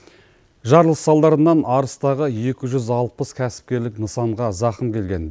жарылыс салдарынан арыстағы екі жүз алпыс кәсіпкерлік нысанға зақым келген